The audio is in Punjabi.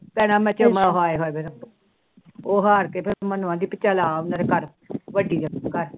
ਭੈਣਾ ਹਾਏ ਉਹ ਹਾਰ ਕੇ ਚੱਲ ਆ ਮੇਰੇ ਘਰ